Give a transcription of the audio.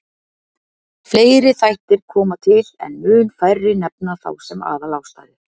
Fleiri þættir koma til en mun færri nefna þá sem aðalástæðu.